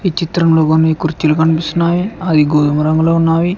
చిత్రంలో కొన్ని కుర్చీలు కనిపిస్తున్నాయి అవి గోధుమ రంగులో ఉన్నాయి.